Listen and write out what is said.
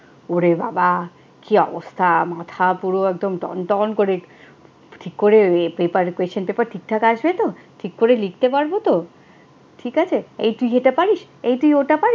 ওরে বাবা, কি অবস্থা। মাথা পুরো একদম টনটন করে ঠিক করে paper question paper ঠিকঠাক আসবে তো? ঠিক করে লিখতে পারবো তো? ঠিক আছে, এই তুই এটা পারিস? তুই ওটা পারিস?